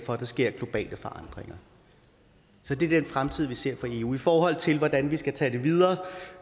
for at der sker globale forandringer så det er den fremtid vi ser for eu i forhold til hvordan vi skal tage det videre